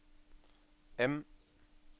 M